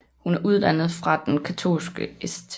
Hun er uddannet fra den katolske St